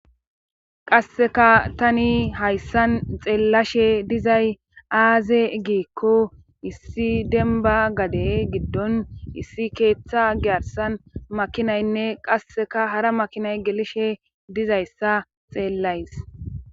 qasseka tani hayssan xeellashe dizay aaze giikko issi denba gade giddon issi keeththa giyarsan makinaynne qasseka hara makinay gelishe dizayssa xeellays